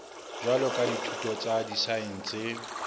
jwalo ka dithuto tsa disaense